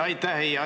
Aitäh!